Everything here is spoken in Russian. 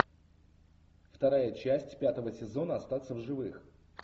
вторая часть пятого сезона остаться в живых